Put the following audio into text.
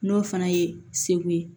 N'o fana ye segu ye